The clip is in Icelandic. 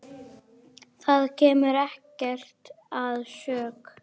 Það kemur ekkert að sök.